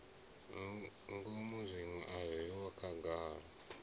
ngomu zwiṅwe a zwiho khagala